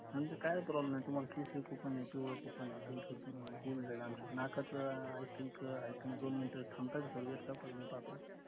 आणि ते काय problem नाय तुम्हाला केसर coupon ए पिवळं coupon ए तुम अं होऊन जाईलआरामशील नकाच अं i think आहे का नाय दोन मिनटं थांबता का sir सर मी पाहतो